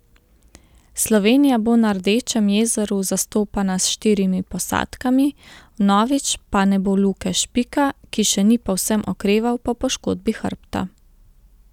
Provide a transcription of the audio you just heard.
Slovenija bo na Rdečem jezeru zastopana s štirimi posadkami, vnovič pa ne bo Luke Špika, ki še ni povsem okreval po poškodbi hrbta.